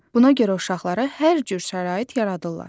Buna görə uşaqlara hər cür şərait yaradılırlar.